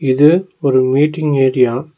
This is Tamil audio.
இது ஒரு மீட்டிங் ஏரியா .